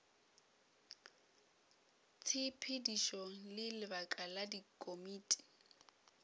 tshepedišo le lebaka la dikomiti